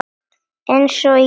Eins og í kirkju.